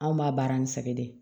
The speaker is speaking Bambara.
Anw b'a baara ni sɛgɛn de ye